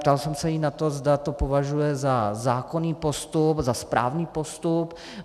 Ptal jsem se jí na to, zda to považuje za zákonný postup, za správný postup.